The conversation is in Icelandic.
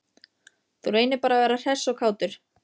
Þú reynir bara að vera hress og kátur!